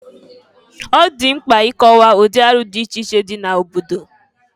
Ọ dị mkpa ị kọwa ụdị arụ dị iche iche dị n'obodo.